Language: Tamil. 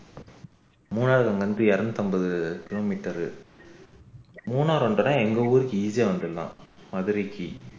மூணாரு அங்க இருந்து இருநூத்தி ஐம்பது kilometer மூணார் வந்தோம்னா எங்க ஊருக்கு easy ஆ வந்துரலாம் மதுரைக்கு